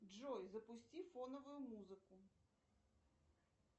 джой запусти фоновую музыку